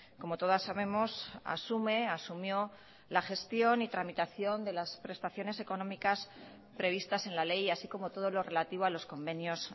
como todas sabemos asume asumió la gestión y tramitación de las prestaciones económicas previstas en la ley así como todo lo relativo a los convenios